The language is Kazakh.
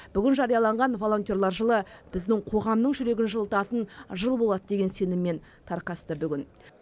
бүгін жарияланған волонтерлар жылы біздің қоғамның жүрегін жылытатын жыл болады деген сеніммен тарқасты бүгін